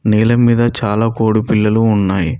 నేల మీద చాలా కోడి పిల్లలు ఉన్నాయి.